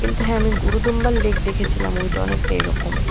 কিন্তু হ্যাঁ আমি গুরু দোম্বাল লেক দেখেছিলাম। ওইটা অনেকটা এরকম ।